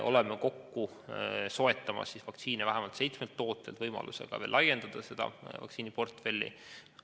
Oleme kokku soetamas vaktsiine vähemalt seitsmelt tootjalt võimalusega laiendada seda vaktsiiniportfelli veelgi.